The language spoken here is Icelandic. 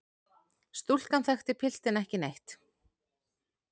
Stúlkan þekkti piltinn ekki neitt.